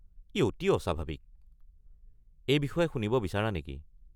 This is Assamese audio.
ই অতি অস্বাভাৱিক, এই বিষয়ে শুনিব বিচাৰা নেকি?